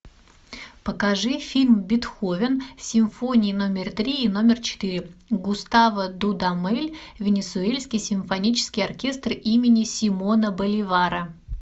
покажи фильм бетховен симфония номер три и номер четыре густаво дудамель венесуэльский симфонический оркестр имени симона боливара